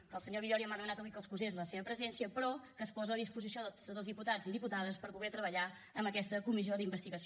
que el senyor villòria m’ha demanat avui que excusés la seva presència però que es posa a la disposició de tots els diputats i diputades per poder treballar en aquesta comissió d’investigació